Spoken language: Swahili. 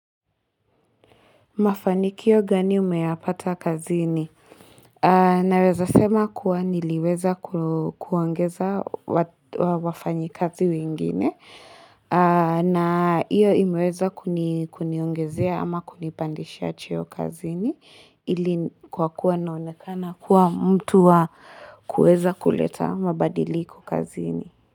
Mafanikio gani umeyapata kazi ni? Naweza sema kuwa niliweza ku kuongeza wa wafanyi kazi wengine. Na iyo imeweza kuni kuniongezea ama kunipandisha cheo kazi ni. Ili kwa kuwa naonekana kuwa mtu wa kuweza kuleta mabadiliko kazi ni.